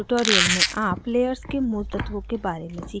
इस tutorial में आप layers के मूल तत्वों के बारे में सीखेंगे